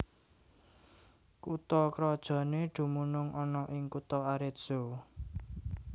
Kutha krajané dumunung ana ing kutha Arezzo